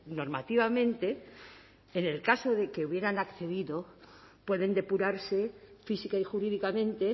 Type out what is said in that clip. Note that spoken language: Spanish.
normativamente en el caso de que hubieran accedido pueden depurarse física y jurídicamente